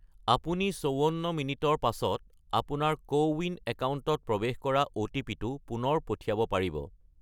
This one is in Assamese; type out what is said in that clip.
আপুনি 54 মিনিটৰ পাছত আপোনাৰ কোৱিন একাউণ্টত প্ৰৱেশ কৰাৰ অ'টিপি-টো পুনৰ পঠিয়াব পাৰিব।